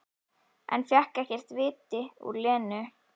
En fékk ekkert af viti út úr Lenu.